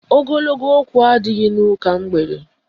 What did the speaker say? Ogologo okwu adịghị n'ụka mgbede